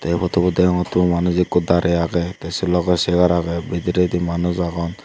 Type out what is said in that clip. ei photobot degongottey manuj ekku darey agey tey sey logey chair agey bidiredi manuj agon.